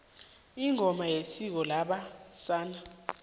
ingoma yisiko labe sana